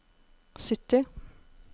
sytti